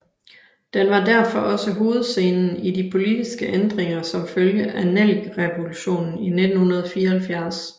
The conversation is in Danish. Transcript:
Den var derfor også hovedscenen i de politiske ændringer som følge af Nellikerevolutionen i 1974